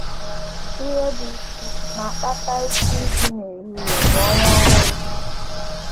Ihe bụ́ isi na - akpata chi iji n’ehihie bụ ọnwa ọhụrụ.